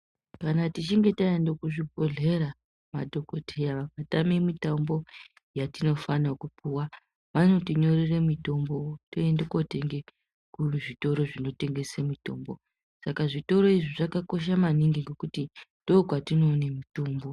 Kana tichinge taende kuzvibhodhlera madhokoteya vakatame mitombo yatinofane kupuwa, vanotinyorera mitombo toende kotenge kuzvitoro zvinotengese mitombo. Saka zvitoro izvi zvakakosha maningi nokuti ndokwatinoone mitombo.